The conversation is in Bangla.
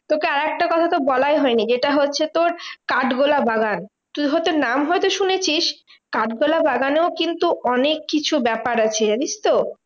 তোকে আরেকটা কথা তো বলাই হয়নি, যেটা হচ্ছে তোর কাঠগোলা বাগান। তুই হয়তো নাম হয়তো শুনেছিস। কাঠগোলা বাগানেও কিন্তু অনেককিছু ব্যাপার আছে জানিসতো?